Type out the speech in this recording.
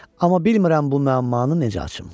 Amma bilmirəm bu müəmmanı necə açım.